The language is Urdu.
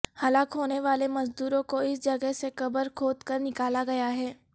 ہلاک ہونے والے مزدوروں کو اس جگہ سے قبر کھود کر نکالا گیا ہے